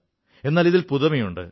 എന്നാൽ ഇതിൽ പുതുമയുണ്ട്